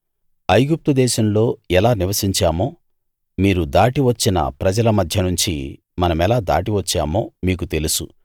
మనం ఐగుప్తు దేశంలో ఎలా నివసించామో మీరు దాటి వచ్చిన ప్రజల మధ్యనుంచి మనమెలా దాటివచ్చామో మీకు తెలుసు